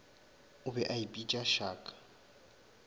o be a ipitša shark